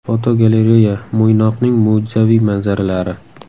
Fotogalereya: Mo‘ynoqning mo‘jizaviy manzaralari.